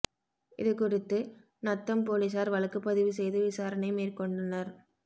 இதுகுறித்து நத்தம் போலீஸாா் வழக்குப் பதிவு செய்து விசாரணை மேற்கொண்டனா்